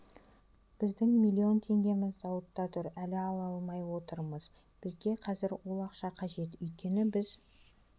біздің млн теңгеміз зауытта тұр әлі ала алмай отырмыз бізге қазір ол ақша қажет өйткені біз